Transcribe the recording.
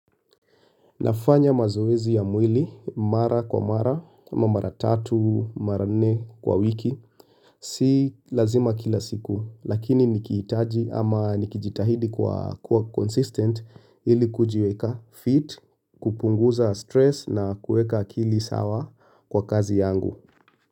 Nafanya mazoezi ya mwili, mara kwa mara, ama mara tatu, mara nne kwa wiki, si lazima kila siku, lakini nikihitaji ama nikijitahidi kuwa consistent ili kujiweka fit, kupunguza stress na kuweka akili sawa kwa kazi yangu.